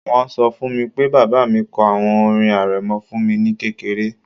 Wọ́n ṣọ fún mi pé bàbá mi kọ àwọn orin arẹmọ fún mi ní kékeré